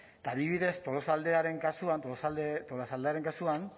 eta adibidez tolosaldearen kasuan tolosaldearen kasuan